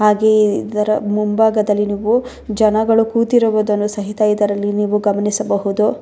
ಹಾಗೆ ಇದರ ಮುಂಭಾಗದಲ್ಲಿ ನೀವು ಜನಗಳು ಕೂತಿರುವುದನ್ನು ಸಹಿತ ಇದರಲ್ಲಿ ನೀವು ಗಮನಿಸಬಹುದು.